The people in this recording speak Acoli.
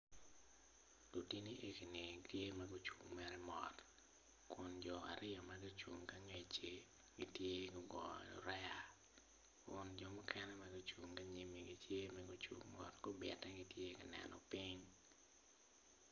Lutini egini tye magucung mere mot, kun jo aryo magucung ki angecci gitye gugoyo rea kun jo mukene magucung gi anyimi gitye magucung mot gubite gitye kaneno ping.